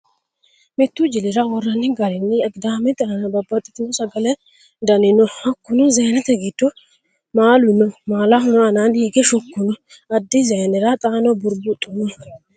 Mittu jili'ra worranni ga'rinni Agidaamete aana babbaxxitino Sagalete dani no: Hakkuno Zaynete giddo maalu no maalaho aanaanni hige shukku no. Addi zayne'ra xaano Burbuxxu no.